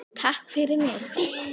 Takk fyrir mig.